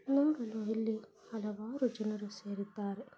ನೋಡಲು ಇಲ್ಲಿ ಹಲವಾರು ಜನರು ಸೇರಿದ್ದಾರೆ.